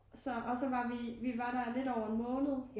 Så og så var vi vi var der lidt over en måned